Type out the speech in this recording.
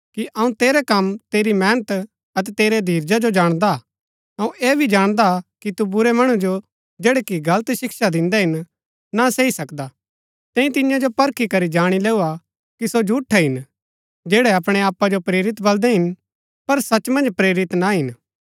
अऊँ तेरै कम तेरी मेहनत अतै तेरै धीरजा जो जाणदा हा अऊँ ऐह भी जाणदा कि तु बुरै मणु जो जैड़ै कि गलत शिक्षा दिन्दै हिन ना सही सकदा तैंई तिन्या जो परखी करी जाणी लैऊ हा कि सो झूठै हिन जैड़ै अपणै आपा जो प्रेरित बल्‍दै हिन पर सच मन्ज प्रेरित ना हिन